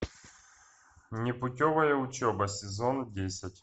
непутевая учеба сезон десять